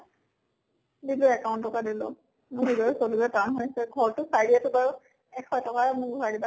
দিলো account ৰ পৰা দিলো। চলিব টান হৈছে ঘৰ টো চাই দি আছো বাৰু। এশ টকে মোক ঘুৰাই দিবা